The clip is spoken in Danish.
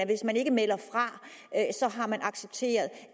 hvis man ikke melder fra har man accepteret